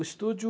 O estúdio...